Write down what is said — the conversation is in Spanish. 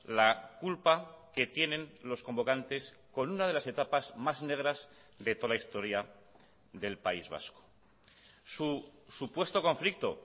la culpa que tienen los convocantes con una de las etapas más negras de toda la historia del país vasco su supuesto conflicto